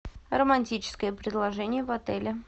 романтическое предложение в отеле